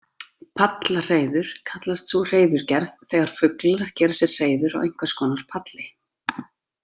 Pallahreiður kallast sú hreiðurgerð þegar fuglar gera sér hreiður á einhvers konar palli.